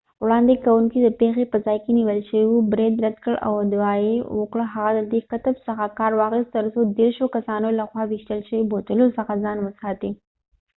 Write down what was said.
وړاندې کونکی چې د پیښې په ځای کې نیول شوی و برید رد کړ او ادعا یې وکړه هغه د دې قطب څخه کار واخیست ترڅو د دیرشو کسانو لخوا ویشتل شوي بوتلو څخه ځان وساتي